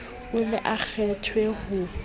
o ne o kgethwe ho